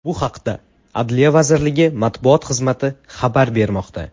Bu haqda adliya vazirligi matbuot xizmati xabar bermoqda .